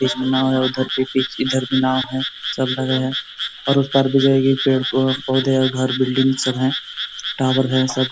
बीच में नाव है इधर भी बीच नाव है। सब लगे है और उस पार भी जाएगी पेड़-पौधे घर बिल्डिंग सब है। टावर है सब --